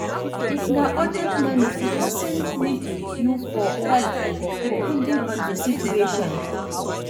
If na urgent money di person need you for help am, depending on di situation